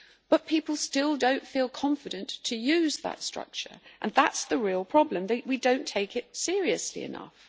But people still don't feel confident to use that structure, and that's the real problem that we don't take it seriously enough.